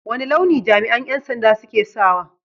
Wane launi jami'an 'yan sanda suke sawa?